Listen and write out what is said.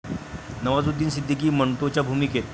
नवाजुद्दीन सिद्दीकी मंटोच्या भूमिकेत